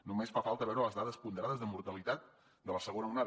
només fa falta veure les dades ponderades de mortalitat de la segona onada